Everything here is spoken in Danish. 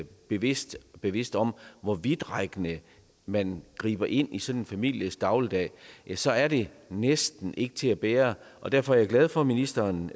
bevidste bevidste om hvor vidtrækkende man griber ind i sådan en families dagligdag så er det næsten ikke til at bære derfor er jeg glad for at ministeren